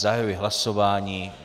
Zahajuji hlasování.